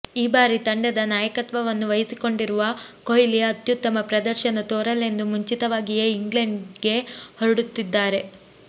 ಈ ಬಾರಿ ತಂಡದ ನಾಯಕತ್ವವನ್ನೂ ವಹಿಸಿಕೊಂಡಿರುವ ಕೊಹ್ಲಿ ಅತ್ಯುತ್ತಮ ಪ್ರದರ್ಶನ ತೋರಲೆಂದು ಮುಂಚಿತವಾಗಿಯೇ ಇಂಗ್ಲೆಂಡ್ಗೆ ಹೊರಡುತ್ತಿದ್ದಾರೆ